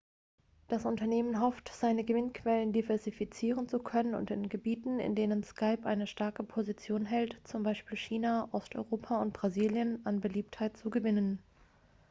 das unternehmen hofft seine gewinnquellen diversifizieren zu können und in gebieten in denen skype eine starke position hält z. b. china osteuropa und brasilien an beliebtheit zu gewinnen